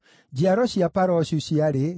njiaro cia Paroshu ciarĩ 2,172,